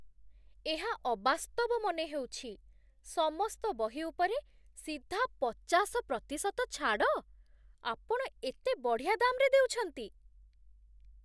ଏହା ଅବାସ୍ତବ ମନେହେଉଛି, ସମସ୍ତ ବହି ଉପରେ ସିଧା ପଚାଶ ପ୍ରତିଶତ ଛାଡ଼! ଆପଣ ଏତେ ବଢ଼ିଆ ଦାମ୍‌ରେ ଦେଉଛନ୍ତି!